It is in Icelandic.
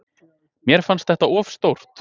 Mér fannst þetta of stórt.